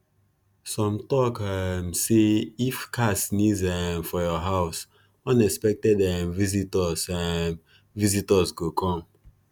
some tok um say if cat sneeze um for your house unexpected um visitors um visitors go come